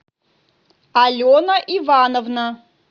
алена ивановна